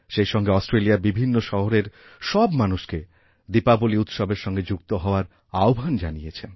সেইসঙ্গে অস্ট্রেলিয়ার বিভিন্ন শহরের সব মানুষকে দীপাবলী উৎসবের সঙ্গে যুক্ত হওয়ারআহ্বান জানিয়েছেন